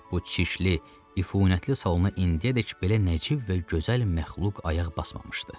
Bu çirkli, üfunətli salona indiyədək belə nəcib və gözəl məxluq ayaq basmamışdı.